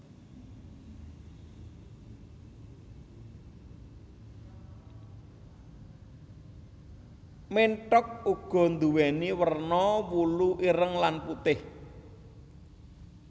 Ménthok uga nduwèni werna wulu ireng lan putih